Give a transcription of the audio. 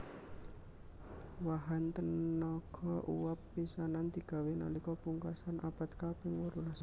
Wahan tenaga uwab pisanan digawé nalika pungkasan abad kaping wolulas